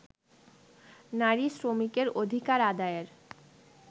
নারী শ্রমিকের অধিকার আদায়ের